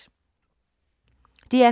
DR K